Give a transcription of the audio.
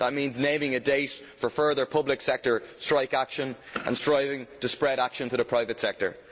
That means naming a date for further public sector strike action and striving to spread action to the private sector.